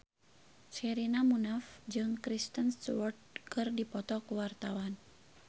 Sherina Munaf jeung Kristen Stewart keur dipoto ku wartawan